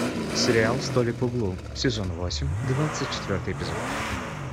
сериал столик в углу сезон восемь двадцать четвертый эпизод